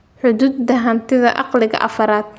Xuquuqda hantida caqliga afaarad.